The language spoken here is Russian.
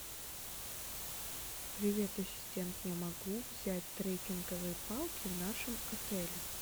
привет ассистент я могу взять трекинговые палки в нашем отеле